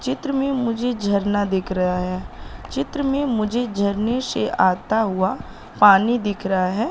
चित्र में मुझे झरना दिख रहा है चित्र में मुझे झरने से आता हुआ पानी दिख रहा है।